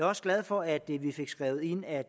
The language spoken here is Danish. også glad for at vi vi fik skrevet ind at